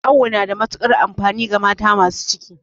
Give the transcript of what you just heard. Awo na da matukar amfani ga mata masu ciki